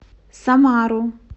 самару